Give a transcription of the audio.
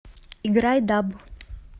играй даб